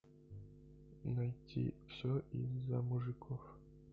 найти все из за мужиков